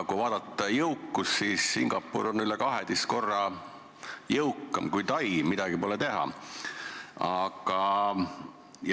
Kui vaadata jõukust, siis Singapur on üle 12 korra jõukam kui Tai, midagi pole teha.